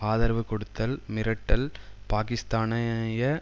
ஆதரவு கொடுத்தல் மிரட்டல் பாக்கிஸ்தானிய